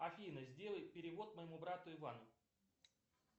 афина сделай перевод моему брату ивану